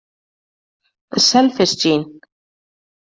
The selfish gene.